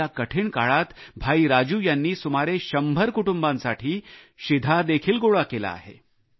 या कठीण काळात राजू यांनी सुमारे 100 कुटुंबांसाठी शिधा देखील गोळा केला आहे